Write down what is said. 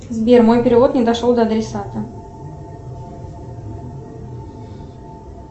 сбер мой перевод не дошел до адресата